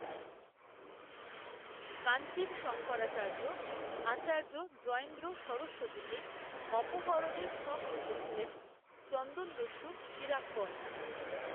কাঞ্চীর শঙ্করাচার্য, আচার্য জয়েন্দ্র সরস্বতীকে, অপহরণের, ছক কষেছিলেন, চন্দনদস্যু বীরাপ্পন